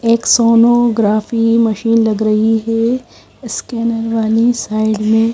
एक sonography machine लग रही है उसके अंदर है ।